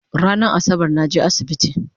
Ranan Asabar naje asibiti